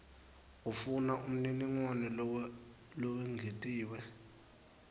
ufuna umniningwane lowengetiwe